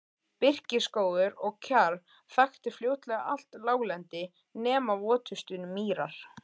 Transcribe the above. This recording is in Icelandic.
Birkiskógur og kjarr þakti fljótlega allt láglendi nema votustu mýrar.